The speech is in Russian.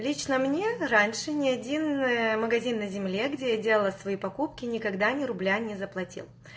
лично мне раньше не один ээ магазин на земле где я делала свои покупки никогда ни рубля не заплатил